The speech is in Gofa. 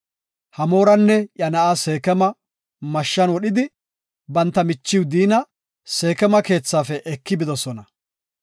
Hamooranne iya na7a Seekema mashshan wodhidi, banta michiw Diina Seekema keethafe eki bidosona.